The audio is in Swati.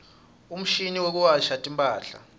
umshini wekuwasha timphahla